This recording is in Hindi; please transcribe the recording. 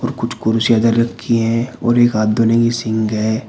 और कुछ कुर्सियां इधर रखी हैं और एक आधुनिक सिंक है।